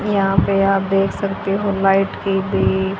यहां पे आप देख सकते हो लाइट की भी--